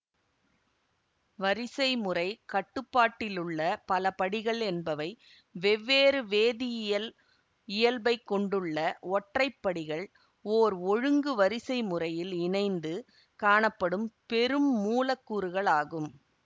வரிசைமுறை கட்டுப்பாட்டிலுள்ள பலபடிகள் என்பவை வெவ்வேறு வேதியியல் இயல்பைக் கொண்டுள்ள ஒற்றை படிகள் ஓர் ஒழுங்கு வரிசைமுறையில் இணைந்து காணப்படும் பெருமூலக்கூறுகளாகும்